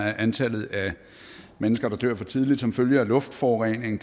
er antallet af mennesker der dør for tidligt som følge af luftforurening